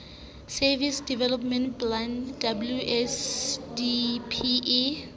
services development plan wsdp e